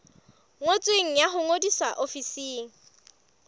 ngotsweng ya ho ngodisa ofising